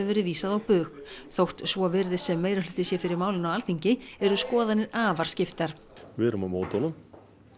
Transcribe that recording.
verið vísað á bug þótt svo virðist sem meirihluti sé fyrir málinu á Alþingi eru skoðanir afar skiptar við erum á móti honum